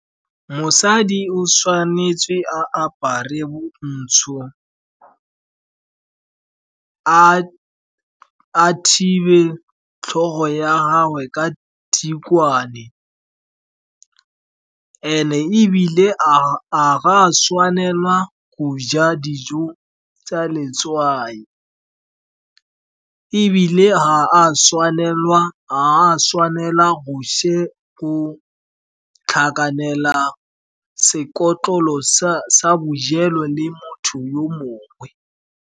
Mosadi o tshwanetse a apare bontsho, a thibe tlhogo ya gagwe ka tikwane. And-e ebile, ga go a tshwanelwa go ja dijo tsa letswai, ebile ga a tshwanelwa go tlhakanela sekotlolo sa bojelo le motho yo mongwe.